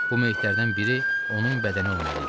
Bu meyitlərdən biri onun bədəni olmalı idi.